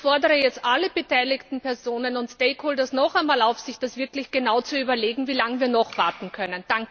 Ich fordere jetzt alle beteiligten Personen und Stakeholder nochmals auf, sich das wirklich genau zu überlegen, wie lange wir noch warten können.